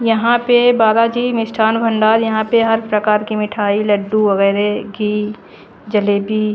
यहाँ पे बाला जी मिष्ठान भंडार यहाँ पे हर प्रकार के मिठाई लड्डू वगेरे घी जलेबी--